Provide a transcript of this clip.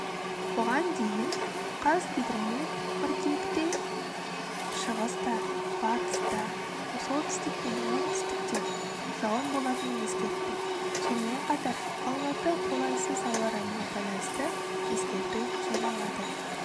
бұған дейін қазгидромет қыркүйекте шығыста батыста солтүстік пен оңтүстікте жауын болатынын ескертті сонымен қатар алматы қолайсыз ауа райына байланысты ескерту жариялады